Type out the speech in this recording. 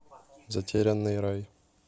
затерянный рай